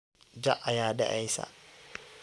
Jaac aya daceysa.